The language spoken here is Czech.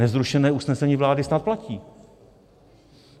Nezrušené usnesení vlády snad platí.